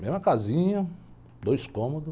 Mesma casinha, dois cômodos.